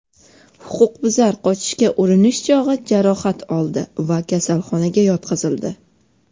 Huquqbuzar qochishga urinish chog‘i jarohat oldi va kasalxonaga yotqizildi.